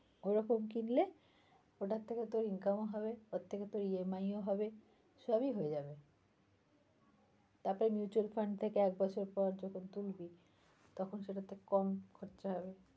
ওরকম কিনলে ওটার থেকে তোর income ও হবে ওর থেকে তোর EMI ও হবে সবই হয়ে যাবে তারপর mutual fund থেকে এক বছর পর যখন তুলবি তখন সেটাতে কম খরচা হবে।